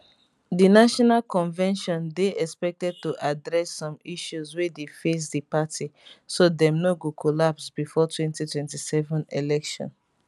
di national convention dey expected to address some issues wey dey face di party so dem no go collapse bifor 2027 election